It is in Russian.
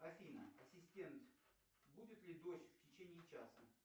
афина ассистент будет ли дождь в течение часа